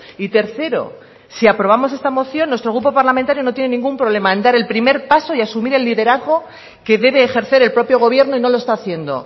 y tercero si aprobamos esta moción nuestro grupo parlamentario no tiene ningún problema en dar el primer paso y asumir el liderazgo que debe ejercer el propio gobierno y no lo está haciendo